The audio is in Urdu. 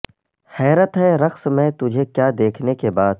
حیرت ہے رقص میں تجہے کیا دیکھنے کے بعد